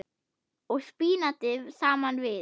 og spínati saman við.